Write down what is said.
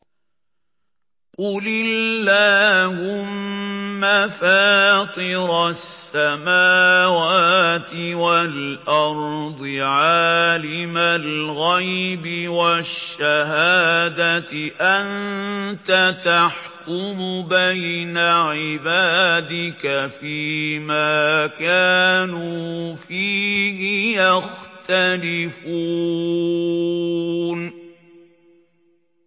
قُلِ اللَّهُمَّ فَاطِرَ السَّمَاوَاتِ وَالْأَرْضِ عَالِمَ الْغَيْبِ وَالشَّهَادَةِ أَنتَ تَحْكُمُ بَيْنَ عِبَادِكَ فِي مَا كَانُوا فِيهِ يَخْتَلِفُونَ